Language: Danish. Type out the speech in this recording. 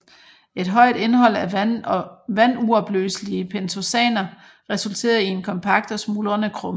Et højt indhold af vanduopløselige pentosaner resulterer i en kompakt og smuldrende krumme